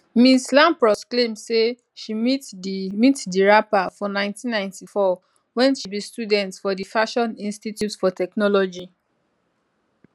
ms lampros claim say she meet di meet di rapper for 1994 wen she be student for di fashion institute for technology